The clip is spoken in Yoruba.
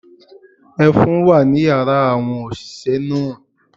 Ẹfun wà ní yàrá àwọn òṣìṣẹ́ náà.